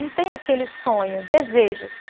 Não tem aquele sonho, desejos.